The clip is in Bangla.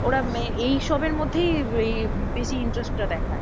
ওরা এইসবের মধ্যেই বেশি interest টা দেখায়।